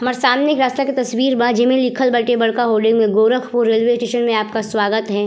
हमार सामने एक रास्ता के तस्वीर बा जेमे लिखल बाटे बड़का होर्डिंग में गोरखपुर रेलवे स्टेशन में आपका स्वागत है।